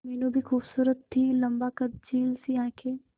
मीनू भी खूबसूरत थी लम्बा कद झील सी आंखें